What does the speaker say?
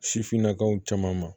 Sifinnakaw caman ma